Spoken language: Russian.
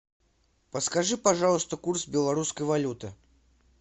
подскажи пожалуйста курс белорусской валюты